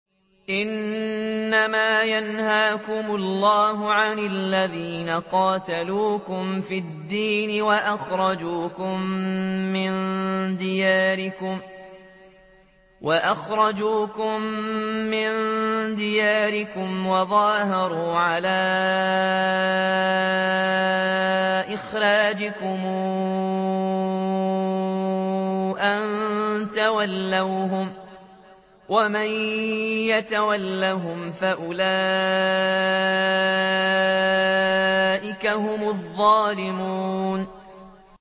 إِنَّمَا يَنْهَاكُمُ اللَّهُ عَنِ الَّذِينَ قَاتَلُوكُمْ فِي الدِّينِ وَأَخْرَجُوكُم مِّن دِيَارِكُمْ وَظَاهَرُوا عَلَىٰ إِخْرَاجِكُمْ أَن تَوَلَّوْهُمْ ۚ وَمَن يَتَوَلَّهُمْ فَأُولَٰئِكَ هُمُ الظَّالِمُونَ